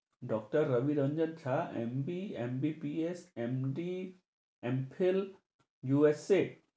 doctor Rabi Ranjan Jha, MB~, MBPS, MD, M Phill, USA